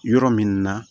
Yɔrɔ min na